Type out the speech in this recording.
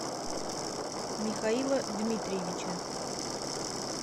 михаила дмитриевича